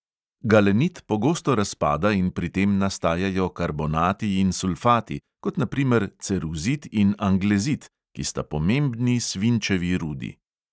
Galenit pogosto razpada in pri tem nastajajo karbonati in sulfati, kot na primer ceruzit in anglezit, ki sta pomembni svinčevi rudi.